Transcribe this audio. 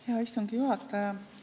Hea istungi juhataja!